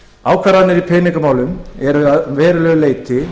ákvarðanir í peningamálum eru að verulegu leyti